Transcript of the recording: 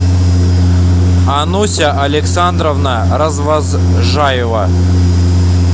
ануся александровна развозжаева